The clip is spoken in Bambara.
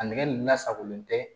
A nɛgɛn lasagolen tɛ